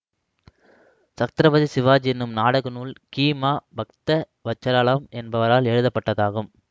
சத்ரபதி சிவாஜி எனும் நாடக நூல் கி மா பக்தவசாலம் என்பவரால் எழுதப்பட்டதாகும்